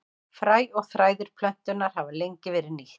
Fræ og þræðir plöntunnar hafa lengi verið nýtt.